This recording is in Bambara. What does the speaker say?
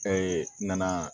nana